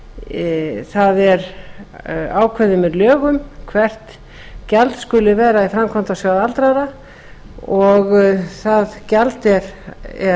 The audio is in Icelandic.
að það er ákveðið að lögum hvert gjald skuli vera í framkvæmdasjóð aldraðra og það gjald er